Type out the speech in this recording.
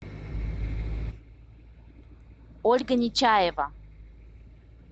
ольга нечаева